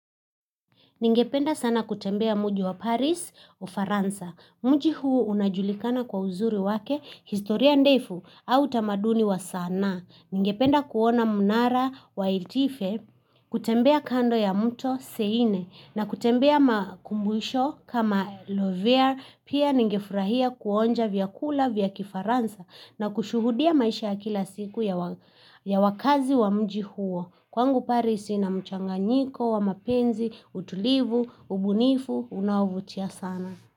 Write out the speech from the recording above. Ningependa sana kutembea mji wa Paris Ufaransa. Mji huu unajulikana kwa uzuri wake historia ndefu au tamaduni wa sanaa. Ningependa kuona mnara wa itife kutembea kando ya mto seine na kutembea makumbusho kama Lovere pia ningefurahia kuonja vyakula vya kifaransa na kushuhudia maisha kila siku ya wakazi wa mji huo. Kwangu Paris ina mchanganyiko wa mapenzi, utulivu, ubunifu, unaovutia sana.